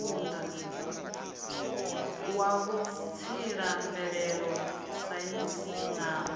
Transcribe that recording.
wa vhutsila mvelele saintsi na